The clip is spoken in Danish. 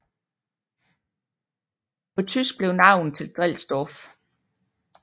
På tysk blev navnet til Drelsdorf